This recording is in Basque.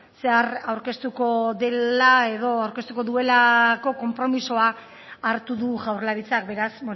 zehar aurkeztuko dela edo aurkeztuko duelako konpromisoa hartu du jaurlaritzak beraz